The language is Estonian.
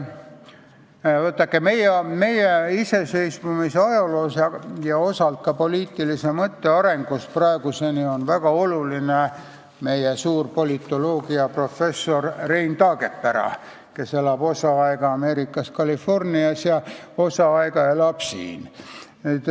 Vaadake, meie iseseisvumise ajaloos ja osalt ka poliitilise mõtte arengus praeguseni on olnud väga oluline meie suur politoloogiaprofessor Rein Taagepera, kes elab osa aega Ameerikas Californias ja osa aega elab siin.